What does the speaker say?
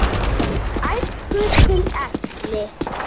Frá æsku til elli.